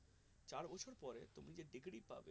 চার বছর পরে তুমি যে degree পাবে